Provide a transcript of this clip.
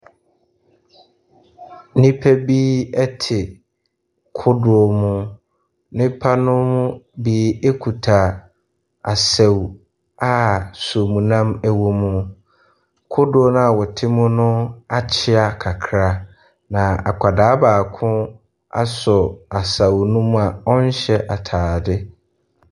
Nnipa bi te kodoɔ mu. Nnipa no mu bi kuta asau a nsuomnam wom. Kodoɔ no a wɔte mu no akyea kakra, na akwadaa baako asɔ asau no mu a ɔrehyɛ atade.